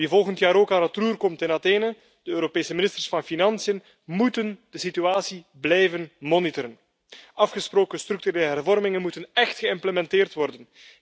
Wie volgend jaar ook aan het roer komt in Athene, de Europese ministers van financiën moeten de situatie blijven monitoren. Afgesproken structurele hervormingen moeten echt geïmplementeerd worden.